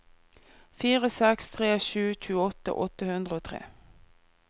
fire seks tre sju tjueåtte åtte hundre og tre